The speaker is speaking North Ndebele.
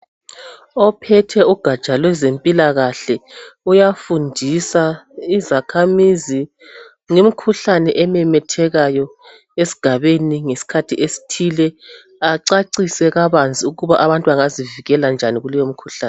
Ophethe ugatsha lwezempilakahle uyafundisa izakhamizi ngemikhuhlane ememethekayo esigabeni ngesikhathi esithile acacise kabanzi ukuba abantu bangazivikela kanjani kuleyo mikhuhlane.